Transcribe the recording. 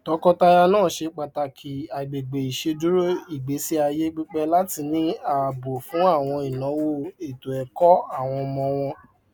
tọkọtaya náà ṣe pàtàkì àgbègbè iṣeduro ìgbésíayé pípe láti ní ààbò fún àwọn ìnáwó ètòẹkọ àwọn ọmọ wọn